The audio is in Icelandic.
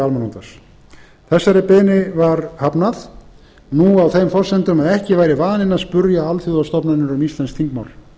almannaútvarps þessari beiðni var hafnað nú á þeim forsendum að ekki væri vaninn að spyrja alþjóðastofnanir um íslensk þingmál